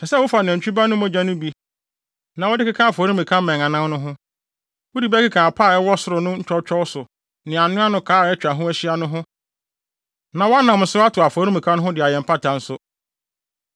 Ɛsɛ sɛ wofa nantwi ba no mogya no bi na wode keka afɔremuka mmɛn anan no ho. Wode bi bɛkeka apa a ɛwɔ soro no ntwɔtwɔw so ne anoano kaa a atwa ho ahyia no ho na wɔanam so atew afɔremuka no ho de ayɛ mpata nso.